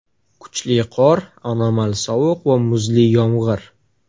Kuchli qor, anomal sovuq va muzli yomg‘ir.